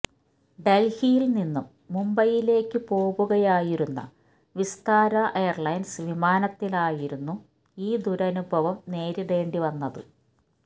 ഡല്ഹിയില് നിന്നും മുംബൈയിലേയ്ക്ക് പോവുകയായിരുന്ന വിസ്താര എയര്ലൈന്സ് വിമാനത്തിലായിരുന്നു ഈ ദുരനുഭവം നേരിടേണ്ടി വന്നത്